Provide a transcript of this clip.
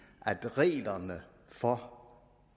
at reglerne for